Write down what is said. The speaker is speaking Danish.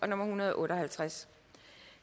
en hundrede og otte og halvtreds